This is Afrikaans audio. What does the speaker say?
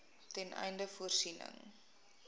ten einde voorsiening